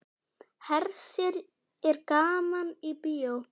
Hersir er gaman í bíó?